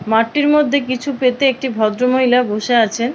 মাঠটির মধ্যে কিছু পেতে একটি ভদ্র মহিলা বসে আছেন।